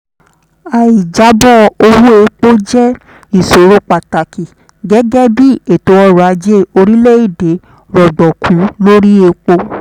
aì jábọ̀ owó epo jẹ́ ìṣòro pàtàkì gẹ́gẹ́ bí ètò ọrọ̀ ajé orílẹ̀-èdè rọ̀gbọ̀kú lórí epo.